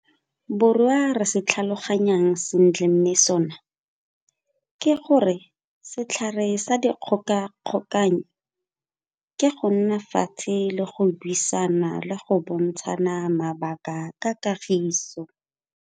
Borwa re se tlhaloganyang sentle mme sona ke gore setlhare sa dikgogakgogano ke go nna fatshe le buisane le go bontshana mabaka ka kagiso.